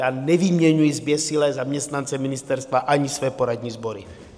Já nevyměňuji zběsile zaměstnance ministerstva ani své poradní sbory.